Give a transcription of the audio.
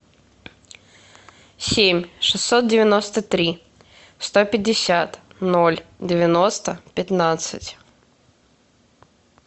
семь шестьсот девяносто три сто пятьдесят ноль девяносто пятнадцать